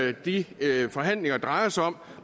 er de forhandlinger drejer sig om